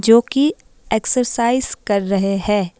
जो कि एक्सरसाइज कर रहे है।